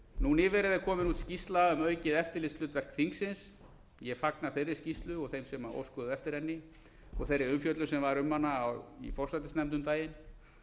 nú nýverið er komin út skýrsla um aukið eftirlitshlutverk þingsins ég fagna þeirri skýrslu og þeim sem óskuðu eftir henni og þeirri umfjöllun sem var um hana í forsætisnefnd um daginn